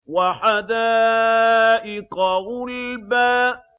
وَحَدَائِقَ غُلْبًا